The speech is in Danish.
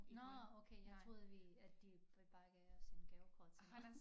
Nåh okay jeg troede at vi at de bare gav os en gavekort til